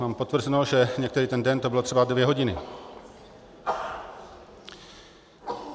Mám potvrzeno, že některý ten den to bylo třeba dvě hodiny.